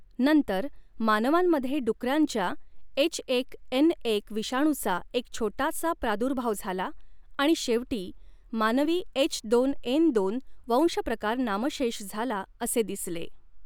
नंतर, मानवांमध्ये डुकरांच्या एच एक एन एक विषाणूचा एक छोटासा प्रादुर्भाव झाला आणि शेवटी, मानवी एच दोन एन दोन वंशप्रकार नामशेष झाला असे दिसले.